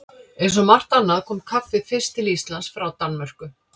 Eins og margt annað kom kaffið fyrst til Íslands frá Danmörku.